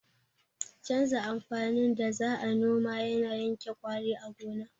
Canza amfanin da za a noma yana yanke ƙwari a gona